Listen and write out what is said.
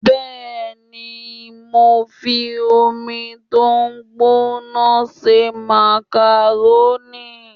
Bẹ́ẹ̀ni, mo fi omi tó gbóná se màkàrónì